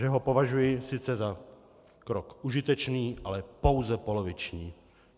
Že ho považuji sice za krok užitečný, ale pouze poloviční.